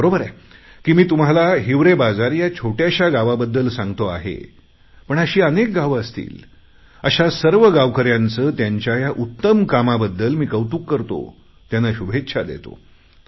बरोबर आहे की मी तुम्हाला हिवरेबाजार या छोट्याशा गावाबद्दल सांगतो आहे पण अशी अनेक गावं असतील अशा सर्व गावकऱ्यांचे त्यांच्या या उत्तम कामाबद्दल मी कौतुक करतो त्यांना शुभेच्छा देतो